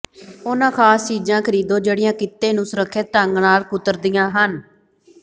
ਉਹਨਾਂ ਖ਼ਾਸ ਚੀਜ਼ਾਂ ਖਰੀਦੋ ਜਿਹੜੀਆਂ ਕਿੱਤੇ ਨੂੰ ਸੁਰੱਖਿਅਤ ਢੰਗ ਨਾਲ ਕੁਤਰਦੀਆਂ ਹਨ